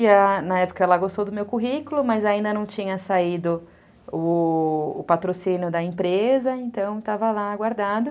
E na época ela gostou do meu currículo, mas ainda não tinha saído o o patrocínio da empresa, então estava lá guardado.